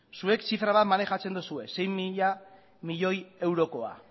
zuek zifra bat maneiatzen duzue sei mila milioi eurokoa